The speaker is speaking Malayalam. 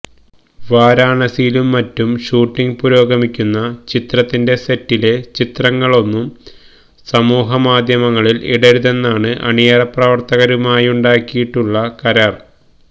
വാരണാസിയിലും മറ്റും ഷൂട്ടിംഗ് പുരോഗമിക്കുന്ന ചിത്രത്തിന്റെ സെറ്റിലെ ചിത്രങ്ങളൊന്നും സമൂഹമാധ്യമങ്ങളില് ഇടരുതെന്നാണ് അണിയറ പ്രവര്ത്തകരുമായുണ്ടാക്കിയിട്ടുള്ള കരാര്